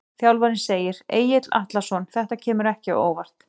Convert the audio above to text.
Þjálfarinn segir- Egill Atlason Þetta kemur ekki á óvart.